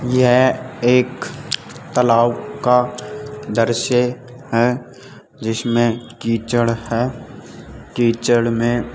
यह एक तलाब का दृश्य है जिसमें कीचड़ है कीचड़ में --